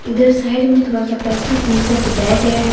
इधर साइड में थोड़ा सा प्लास्टिक फूल से सजाया गया है।